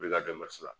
U bɛ ka